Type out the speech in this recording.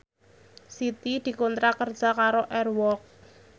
Siti dikontrak kerja karo Air Walk